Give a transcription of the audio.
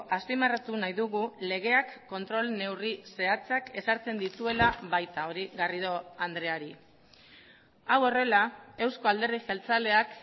azpimarratu nahi dugu legeak kontrol neurri zehatzak ezartzen dituela baita hori garrido andreari hau horrela eusko alderdi jeltzaleak